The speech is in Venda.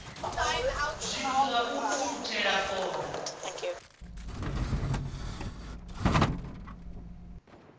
zwithu zwa u ukhuthela fola